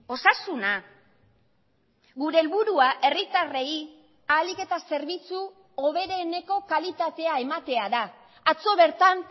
osasuna gure helburua herritarrei ahalik eta zerbitzu hobereneko kalitatea ematea da atzo bertan